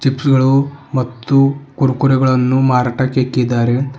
Juice ಗಳು ಮತ್ತು ಕುರ್ಕುರೆಗಳನ್ನು ಮಾರಾಟಕ್ಕೆ ಇಕ್ಕಿದ್ದಾರೆ.